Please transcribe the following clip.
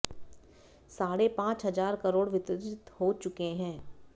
साढ़े पांच हजार करोड़ वितरित हो चुके हैं